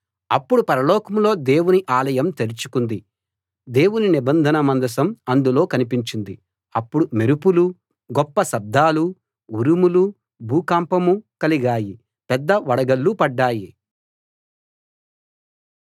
అప్పుడు పరలోకంలో దేవుని ఆలయం తెరుచుకుంది దేవుని నిబంధన మందసం అందులో కనిపించింది అప్పుడు మెరుపులూ గొప్ప శబ్దాలూ ఉరుములూ భూకంపమూ కలిగాయి పెద్ద వడగళ్ళు పడ్డాయి